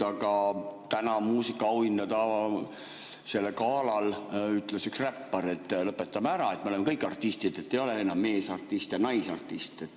Aga täna muusikaauhindade galal ütles üks räppar, et lõpetame ära, me oleme kõik artistid, ei ole enam meesartist ja naisartist.